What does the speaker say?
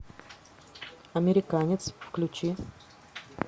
американец включи